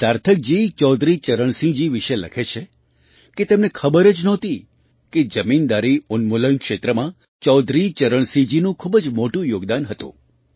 સાર્થકજી ચૌધરી ચરણસિંહજી વિશે લખે છે કે તેમને ખબર જ નહોતી કે જમીનદારી ઉન્મૂલન ક્ષેત્રમાં ચૌધરી ચરણસિંહજીનું ખૂબ જ મોટું યોગદાન હતું